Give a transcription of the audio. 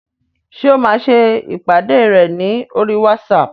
Ṣé o máa ṣe ìpàdé rẹ ní oríi wátísapù?